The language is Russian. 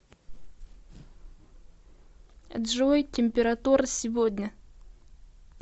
джой температура сегодня